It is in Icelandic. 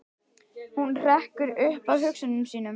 Hún hrekkur upp af hugsunum sínum.